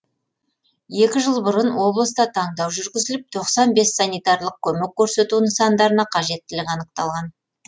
екі жыл бұрын облыста таңдау жүргізіліп тоқсан бес санитарлық көмек көрсету нысандарына қажеттілік анықталған